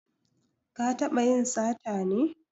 Ka taɓa yin sata ne?